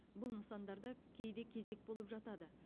бұл нысандарда кейде кезек болып жатады